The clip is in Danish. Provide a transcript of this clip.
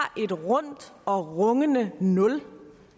et rundt og rungende nul